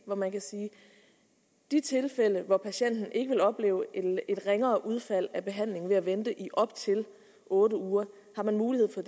man kan sige at i de tilfælde hvor patienten ikke vil opleve et ringere udfald af behandlingen ved at vente i op til otte uger er der mulighed for